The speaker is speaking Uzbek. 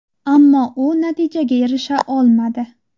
Ammo u natijaga erisha olmadi.